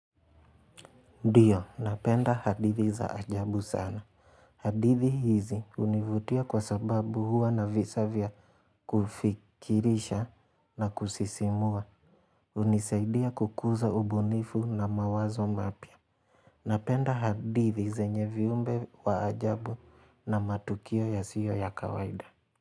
Dio, napenda hadithi za ajabu sana. Hadithi hizi univutia kwa sababu huwa na visa vya kufikirisha na kusisimua. Unisaidia kukuza ubunifu na mawazo mapya. Napenda hadithi zenye viumbe wa ajabu na matukio yasiyo ya kawaida.